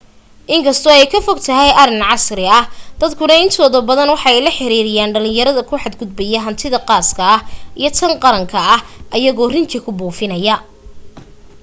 in kasto ay ka fogtahay arin casri ah dadka intooda badan waxa ay la xiriiriyan dhalinyarada ku xad gudbaya hantida qaaska iyo tan qaranka ayagoo rinji ku buufinaya